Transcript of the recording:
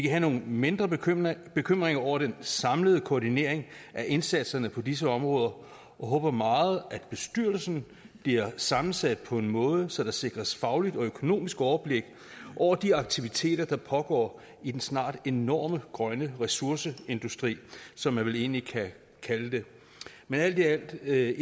have nogle mindre bekymringer bekymringer om den samlede koordinering af indsatserne på disse områder og håber meget at bestyrelsen bliver sammensat på en måde så der sikres fagligt og økonomisk overblik over de aktiviteter der pågår i den snart enorme grønne ressourcer industri som man vel egentlig kan kalde det men alt i alt er